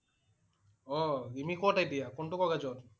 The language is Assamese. অ' ৰিমি কত এতিয়া? কোনটো কলেজত